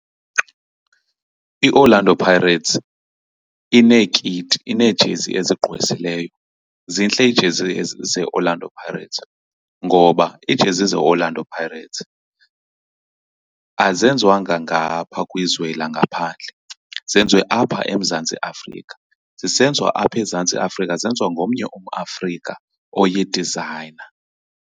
I-Orlando Pirates ineekiti, ineejezi ezigqwesileyo, zintle iijezi zeOrlando Pirates. Ngoba iijezi zeOrlando Pirates azenziwanga ngapha kwizwe langaphandle, zenziwe apha eMzantsi Afrika, zisenziwa apha eMzantsi Afrika zenziwa ngomnye umAfrika oyi-designer.